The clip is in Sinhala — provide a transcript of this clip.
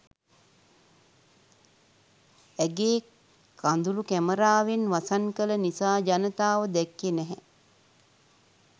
ඇගේ කඳුළු කැමරාවෙන් වසන් කළ නිසා ජනතාව දැක්කෙ නැහැ.